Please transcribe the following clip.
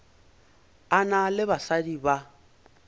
a na le basadi ba